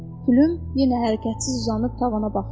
Pülüm yenə hərəkətsiz uzanıb tavana baxırdı.